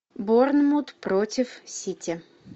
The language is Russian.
борнмут против сити